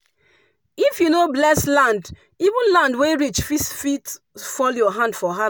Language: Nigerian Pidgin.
if you no bless land even land wey rich fall your hand for.